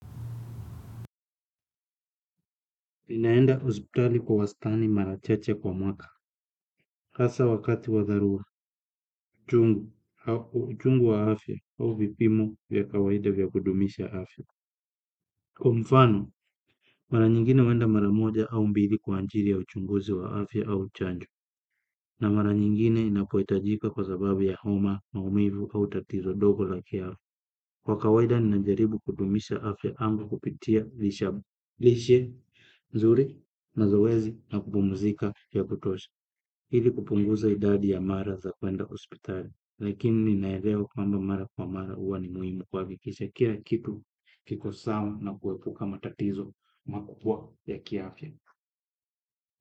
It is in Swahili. Ninaenda hospitali kwa wastani mara chache kwa mwaka, hasa wakati wadharua, uchungu wa afya au vipimo vya kawaida vya kudumisha afya. Kwa mfano mara nyingine huenda mara moja au mbili kwa ajili ya uchunguzi wa afya au chanjo, na mara nyingine napo hitajika kwa sababu ya homa maumivu au tatizo dogo la kiafya kwa kawaida najaribu kudumisha afya yangu kupitia lishe nzuri, mazoezi na kupumzika ya kutosha ile kupunguza idadi mara za kwenda hospitali lakini naelewa kwamba mara kwa mara hua ni muhimu kuhakikisha kila kitu iko sawa na kuepuka matatizo makubwa ya kiafya.